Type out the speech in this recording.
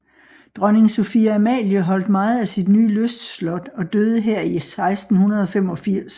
Dronning Sophie Amalie holdt meget af sit nye lystslot og døde her i 1685